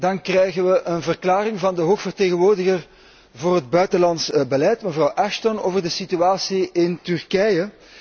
Dan krijgen we een verklaring van de hoge vertegenwoordiger voor het buitenlands beleid, mevrouw Ashton, over de situatie in Turkije.